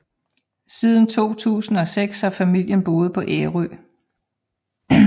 Siden 2006 har familien boet på Ærø